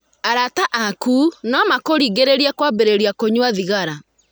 Arata aaku no makũringĩrĩrie kwambĩrĩria kũnyua thigara.